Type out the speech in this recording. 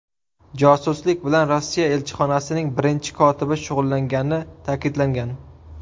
Josuslik bilan Rossiya elchixonasining birinchi kotibi shug‘ullangani ta’kidlangan.